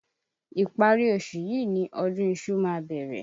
Ìpárí oṣù yìí ni ọdún iṣu ma bẹ̀rẹ̀.